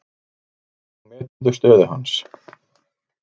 Hvernig meturðu stöðu hans?